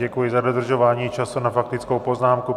Děkuji za dodržování času na faktickou poznámku.